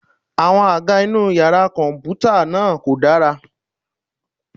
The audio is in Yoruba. Àwọn àga inú yàrá kọ̀m̀pútà náà kò dára.